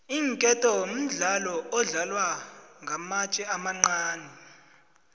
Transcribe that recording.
iinketo mdlalo odlalwa ngamatje amancani